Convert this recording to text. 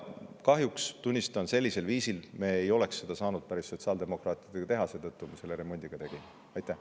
Kahjuks, tunnistan, päris sellisel viisil me ei oleks seda kõike koos sotsiaaldemokraatidega saanud teha, seetõttu me selle remondi ka tegime.